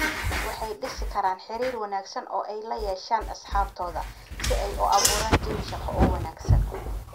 waxay dhisi karaan xiriir wanaagsan oo ay la yeeshaan asxaabtooda, si ay u abuuraan jawi shaqo oo wanaagsan.